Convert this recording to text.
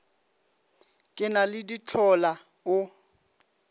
ke na le dihlola o